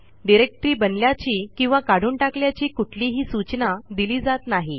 directory बनल्याची किंवा काढून टाकल्याची कुठलीही सूचना दिली जात नाही